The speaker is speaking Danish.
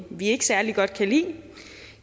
vi ikke særlig godt kan lide